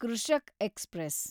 Krishak express